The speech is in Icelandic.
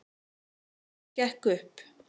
Það gekk upp